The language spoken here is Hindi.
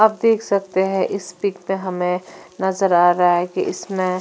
आप देख सकते हैं इस पिक में हमें नज़र आ रहा है कि इसमें--